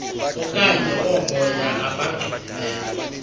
okanye oomoya abangcolileyo